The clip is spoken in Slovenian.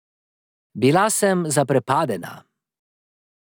Bila sem zaprepadena.